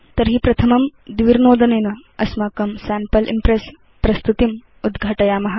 तर्हि प्रथमं द्विर्नोदनेन अस्माकं सैम्पल इम्प्रेस् प्रस्तुतिम् उद्घाटयाम